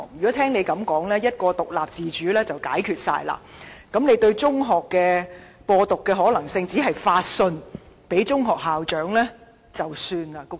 按他所說，一句獨立自主便可解決問題，對於有人在中學"播獨"的可能性，只是發信給中學校長便算解決了。